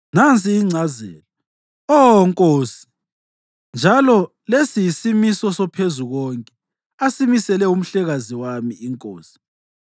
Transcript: Nansi ingcazelo, Oh nkosi, njalo lesi yisimiso soPhezukonke asimisele umhlekazi wami inkosi: